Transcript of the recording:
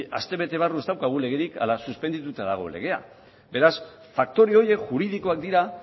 astebete barru ez daukagu legerik ala suspendituta dago legea beraz faktore horiek juridikoak dira